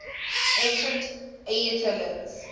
ancient aetolians